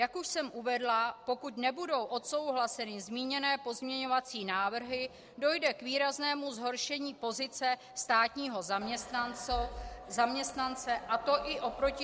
Jak už jsem uvedla, pokud nebudou odsouhlaseny zmíněné pozměňovací návrhy, dojde k výraznému zhoršení pozice státního zaměstnance, a to i oproti zákonu -